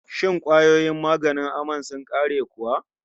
Shin kwayoyin maganin aman sun ƙare kuwa?